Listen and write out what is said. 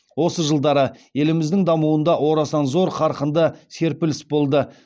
осы жылдары еліміздің дамуында орасан зор қарқынды серпіліс болды